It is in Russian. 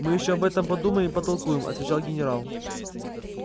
мы ещё об этом подумаем и потолкуем отвечал генерал